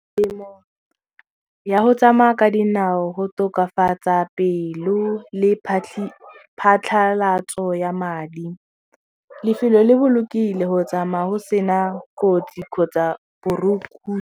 Temo ya go tsamaya ka dinao go tokafatsa pelo le phatlhalatso ya madi, lefelo le bolokile go tsamaya go sena kotsi kgotsa .